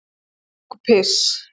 Kúk og piss.